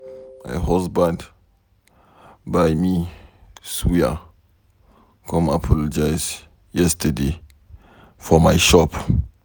My husband buy me suya come apologize yesterday for my shop.